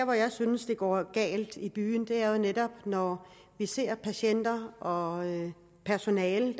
hvor jeg synes det går galt i byen er jo netop når vi ser patienter og personale